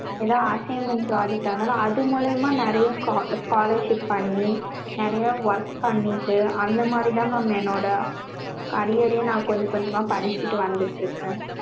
ஏதாவது assignments project இருந்தாலும்அது மூலியமா நெறையா scholarship பண்ணி நெறையா work பண்ணிட்டு அந்த மாதிரி தான் mam என்னோட career நா கொஞ்ச கொஞ்சமா படிச்சிட்டு வந்திட்டு இருக்கேன்.